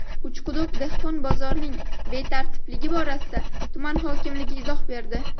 Uchquduq dehqon bozorining betartibligi borasida tuman hokimligi izoh berdi.